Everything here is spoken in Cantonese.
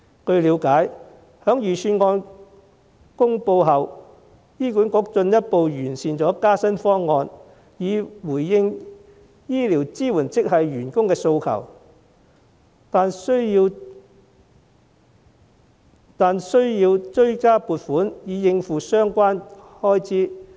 據了解，在預算案公布後，醫管局進一步完善加薪方案，以回應醫療支援職系員工的訴求，但需要追加撥款以應付相關開支。